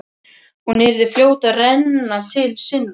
Hún yrði fljót að renna til sinna.